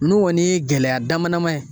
Nun ŋɔni ye gɛlɛya dama dama ye